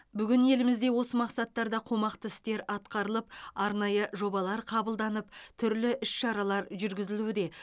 бүгін елімізде осы мақсаттарда қомақты істер атқарылып арнайы жобалар қабылданып түрлі іс шаралар жүргізілуде